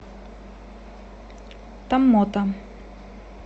томмота